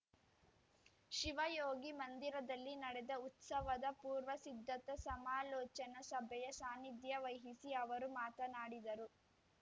ಶಿವಯೋಗಿ ಮಂದಿರದಲ್ಲಿ ನಡೆದ ಉತ್ಸವದ ಪೂರ್ವ ಸಿದ್ಧತಾ ಸಮಾಲೋಚನಾ ಸಭೆಯ ಸಾನಿಧ್ಯ ವಹಿಸಿ ಅವರು ಮಾತನಾಡಿದರು